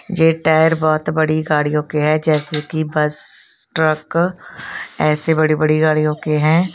ये टायर बहोत बड़ी गाड़ियों के हैं जैसे कि बस ट्रक ऐसे बड़ी बड़ी गाड़ियों के हैं।